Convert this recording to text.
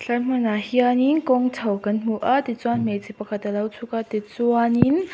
helai hmuah hianin kawng chho kan hmu a tichuan hmeichhia pakhat alo chhuka tichuan in--